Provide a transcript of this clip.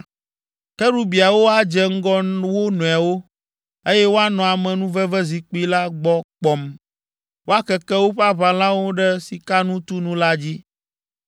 Kerubiawo adze ŋgɔ wo nɔewo, eye woanɔ amenuvevezikpui la gbɔ kpɔm. Woakeke woƒe aʋalãwo ɖe sikanutunu la dzi.